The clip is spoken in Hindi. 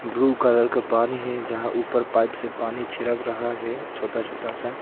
ब्लू कलर का पानी है यहां ऊपर पाइप से पानी छिड़क रहा है छोटा छोटा सा।